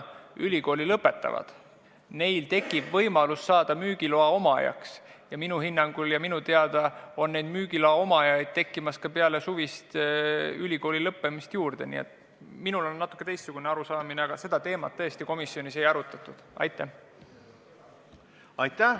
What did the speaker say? Head kolleegid!